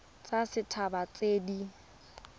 tsa set haba tse di